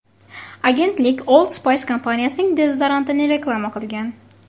Agentlik Old Spice kompaniyasining dezodorantini reklama qilgan.